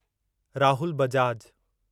Rahul Bajaj